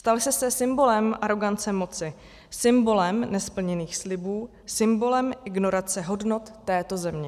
Stal jste se symbolem arogance moci, symbolem nesplněných slibů, symbolem ignorace hodnot této země.